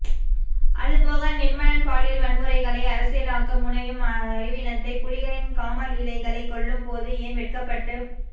அதுபோக நிர்மலன் பாலியல்வன்முறைகளை அரசியல்யாக்க முனையும் அறிவீனத்தை புலிகளின் காமலீலைகளை சொல்லும் போது ஏன் வெட்கப்பட்டு